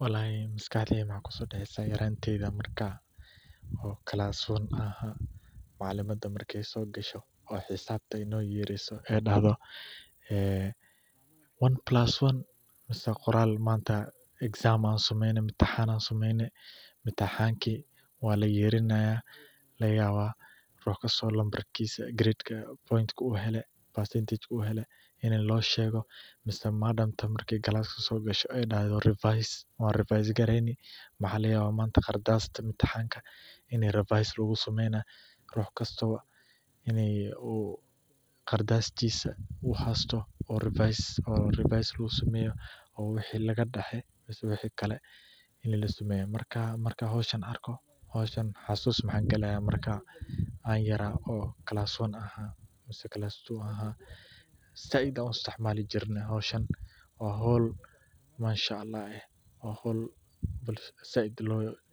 Walahi maskaxdeyda maxaa kusodaceysa yaranteyda marka oo class one ahay macalimada marka ee so gasho oo xisabta ee no yeriso ee dahdo ee 1+1 mase qoral manta exam an sameyno intixan ki marki an sameyno waa layerinaya lagayawa rux kisto nambarkisa grade numbarkisa u hele ama percentage ka u hele loshego mase madamta marka gilaska ee so gasho ee dahdo wan revise gareyni laga yawa manta qardasti intixanka in revise lagu sameynayo rux kasto in qardastisa u hasto u revise lagu sameyo oo waxi labaxe mase waxi kale lasameyo marka, markan hoshan arko xasus maxaan gala marka an yara oo class one aha mase glass two ahay, waa hol mashaallah eh, waa hol said